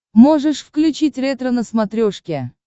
можешь включить ретро на смотрешке